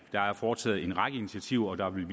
der er foretaget en række initiativer og der vil